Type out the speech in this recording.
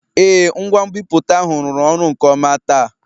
Ee, ngwa nbipute ahụ rụrụ ọrụ nke ọma taa